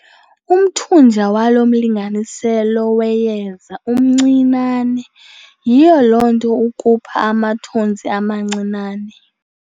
Umthunja walo mlinganiselo weyeza mncinane yiloo nto ukhupha amathontsi amancinane.